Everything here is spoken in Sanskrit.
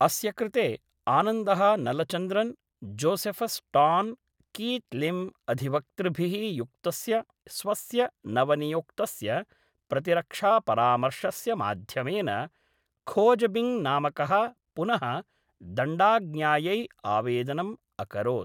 अस्य कृते, आनन्दः Nalachandran, Josephus Tan, Keith Lim अधिवक्तृभिः युक्तस्य स्वस्य नवनियुक्तस्य प्रतिरक्षापरामर्शस्य माध्यमेन, खोजबिङ्ग् नामकः पुनः दण्डाज्ञायै आवेदनम् अकरोत्‌।